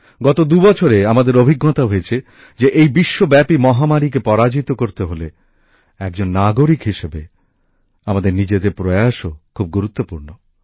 গত দু বছরে আমাদের অভিজ্ঞতা হয়েছে যে বিশ্বব্যাপী এই মহামারীকে পরাজিত করতে হলে একজন নাগরিক হিসাবে আমাদের নিজেদের প্রয়াসও খুব গুরুত্বপূর্ণ